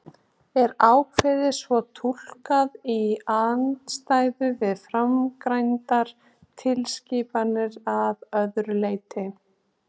Er ákvæðið svo túlkað í andstöðu við framangreindar tilskipanir að öðru leyti?